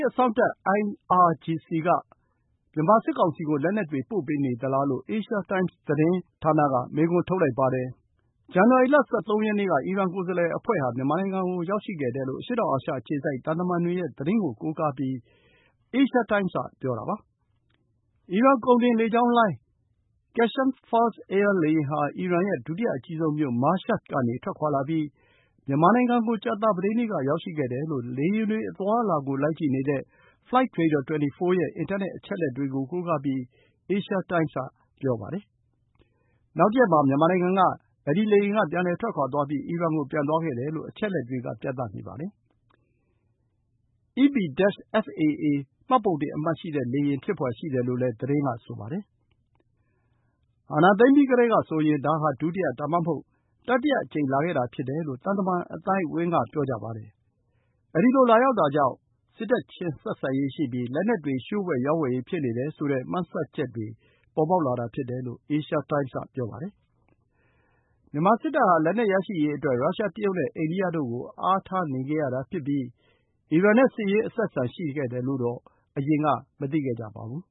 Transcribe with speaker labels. Speaker 1: းအစောင့်တပ် (IRGC) က မြန်မာစစ်ကောင်စီကို လက်နက်တွေ ပို့ပေးနေသလားလို့ Asia Times သတင်းဌာနက မေးခွန်းထုတ်လိုက်ပါတယ်။ ဇန်နဝါရီလ ၁၃ ရက်နေ့က အီရန်ကိုယ်စားလှယ်အဖွဲ့ဟာ မြန်မာနိုင်ငံကို ရောက်ရှိခဲ့တယ်လို့ အရှေ့တောင်အာရှအခြေစိုက် သံတမန်တွေရဲ့ သတင်းကို အခြေခံပြီး Asia Times က ဆိုပါတယ်။ အီရန်ကုန်တင်လေကြောင်းလိုင်း Qeshm Fars Air လေယာဉ်ဟာ အီရန်ရဲ့ ဒုတိယအကြီးဆုံးမြို့ Mashhad ကနေ ထွက်ခွါလာပြီး မြန်မာနိုင်ငံကို ကြာသပတေးနေ့က ရောက်ရှိခဲ့တယ်လို့ လေယာဉ်တွေ အသွားအလာကို လိုက်ကြည့်နေတဲ့ Flightradar24 ရဲ့ အင်တာနက် အချက်အလက်တွေကို ကိုးကားပြီး Asia Times က ပြောတာပါ။ နောက်တရက်မှာ မြန်မာနိုင်ငံက ပြန်လည်ထွက်ခွါပြီး အီရန်ကို ပြန်သွားခဲ့တယ်လို့ အချက်အလက်တွေက ပြနေပါတယ်။ “EP-FAA” မှတ်ပုံတင်အမှတ်ရှိတဲ့ လေယာဉ် ဖြစ်ဖွယ်ရှိတယ်လို့ သတင်းက ဆိုပါတယ်။ အာဏာသိမ်းပြီးကတည်းကဆိုရင် ဒါဟာ ဒုတိယ ဒါမှမဟုတ် တတိယအကြိမ် လာခဲ့တာ ဖြစ်တယ်လို့ သံတမန်အသိုက်အဝန်းက ပြောကြပါတယ်။ ဒီလို လာရောက်တာကြောင့် စစ်တပ်ချင်း ဆက်ဆံရေးရှိပြီး လက်နက်တွေ လျှို့ဝှက်ရောင်းဝယ်ရေး ဖြစ်နေတယ်ဆိုတဲ့ မှန်းဆချက်တွေ ပေါ်ပေါက်လာတာဖြစ်တယ်လို့ Asia Times က ပြောပါတယ်။ မြန်မာစစ်တပ်ဟာ လက်နက်ရရှိရေးအတွက် ရုရှား၊ တရုတ်နဲ့ အိန္ဒိယတို့ကို အားထားနေခဲ့ရတာ ဖြစ်ပြီး အီရန်နဲ့ စစ်ရေးအဆက်အဆံ ရှိခဲ့တယ်လို့ အရင်ကတော့ မသိခဲ့ကြပါဘူး။